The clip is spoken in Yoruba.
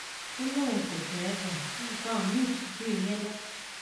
ó lóun kò fẹ um nǹkan mìín ju ìyẹn lọ